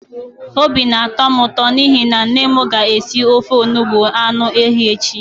Obi na-atọ m ụto n'ihi na nne m ga-esi ofe onugbu anụ ehi echi.